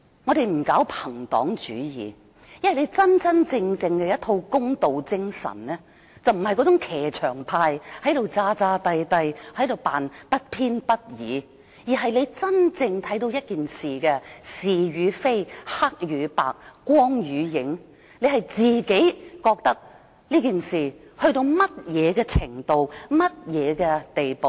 我們不搞朋黨主義，因為真正的公道精神並非騎牆派，裝模作樣地扮作不偏不倚，而是真正看到一件事的是與非、黑與白、光與影，自己判斷事情達到甚麼程度和甚麼地步。